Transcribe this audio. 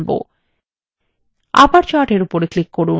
আবার chart এর উপর click করুন